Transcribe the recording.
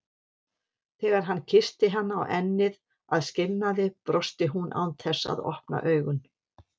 Þegar hann kyssti hana á ennið að skilnaði brosti hún án þess að opna augun.